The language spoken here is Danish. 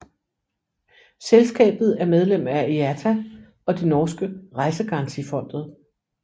Selskabet er medlem af IATA og det norske Reisegarantifondet